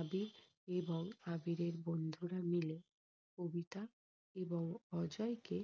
আবির এবং আবিরের বন্ধুরা মিলে কবিতা এবং অজয়কে